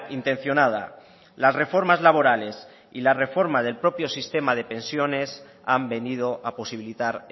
intencionada las reformas laborales y la reforma del propio sistema de pensiones han venido a posibilitar